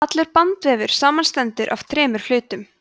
allur bandvefur samanstendur af þremur hlutum